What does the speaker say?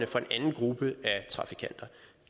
for en anden gruppe af trafikanter